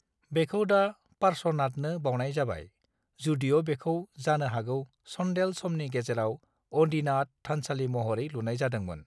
बेखौ दा पार्श्वनाथनो बावनाय जाबाय, जुदिअ' बेखौ जानो हागौ चंदेल समनि गेजेराव आदिनाथ थानसालि महरै लुनाय जादोंमोन।